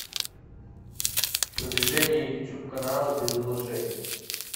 продвижение ютуб канала без вложений